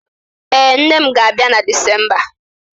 Ee, nne m ga-abịa na Disemba